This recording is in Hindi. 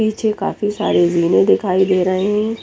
नीचे काफी सारे विले दिखाई दे रही है।